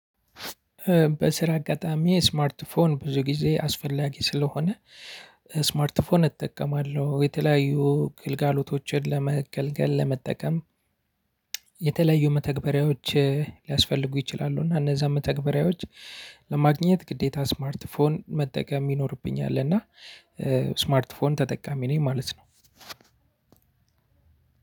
በስራ አጋጣሚ ስማርት ፎን ብዙ ጊዜ አስፈላጊ ስለሆነ ስማርት ፎን እጠቀማለሁ የተለያዩ ግልጋሎቶችን ለመገልገል ለመጠቀም። የተለያዩ መተግበሪያዎች ሊያስፈልጉ ይችላሉ እና እነዛን መተግበሪያዎች ለማግኘት ግዴታ ስማርት ፎን መጠቀም ይኖርብኛል እና። ስማርት ፎን ተጠቃሚ ነኝ ማለት ነው።